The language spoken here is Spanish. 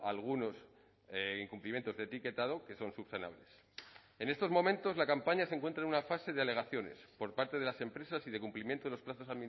algunos incumplimientos de etiquetado que son subsanables en estos momentos la campaña se encuentra en una fase de alegaciones por parte de las empresas y de cumplimiento de los plazos